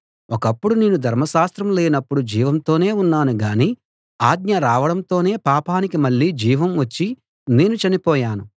ఒకప్పుడు నేను ధర్మశాస్త్రం లేనప్పుడు జీవంతోనే ఉన్నాను గాని ఆజ్ఞ రావడంతోనే పాపానికి మళ్ళీ జీవం వచ్చి నేను చనిపోయాను